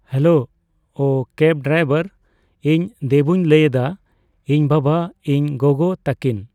Hello cab driver. ᱤᱧ ᱫᱮᱵᱩᱧ ᱞᱟᱹᱭ ᱮᱫᱟ ᱤᱧ ᱵᱟᱵᱟ ᱤᱧ ᱜᱚᱜᱚ ᱛᱟᱠᱤᱱ